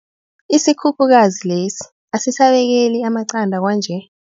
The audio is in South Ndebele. Isikhukhukazi lesi asisabekeli amaqanda kwanje.